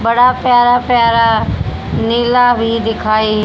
बड़ा प्यारा प्यारा नीला भी दिखाई--